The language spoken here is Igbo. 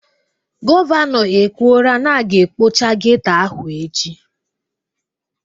Gọvanọ ekwuoraa na a ga ekpocha geto ahụ echi